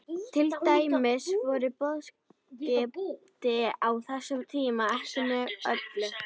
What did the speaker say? Til dæmis voru boðskipti á þessum tíma ekki mjög öflug.